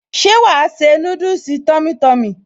Ṣé wàá se núdùsì tummy tummy?